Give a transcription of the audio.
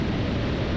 Səs yoxa çıxdı.